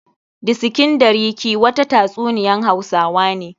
Disikin ɗariki' wata ta tsuniyan hausawa ne.